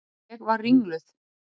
Ég var ringluð.